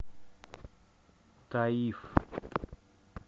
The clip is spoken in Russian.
таиф